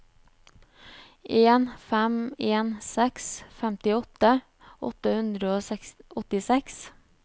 en fem en seks femtiåtte åtte hundre og åttiseks